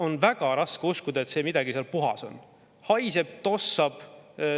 On väga raske uskuda, et midagi seal puhas on: haiseb, tossab.